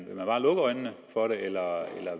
vil man bare lukke øjnene for det eller